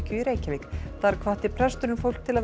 í Reykjavík þar hvatti presturinn fólk til að vera